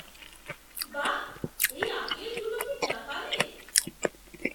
বাহ! এই আপেলগুলো কি জাপানের?